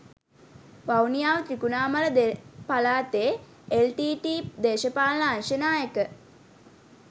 වවුනියාව ත්‍රිකුණාමල දෙ පලාතේ එල්ටීටීඊ දේශපාලන අංශ නායක